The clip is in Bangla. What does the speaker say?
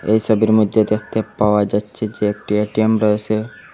এই ছবির মইদ্যে দেখতে পাওয়া যাচ্ছে যে একটি এ_টি_এম রয়েসে ।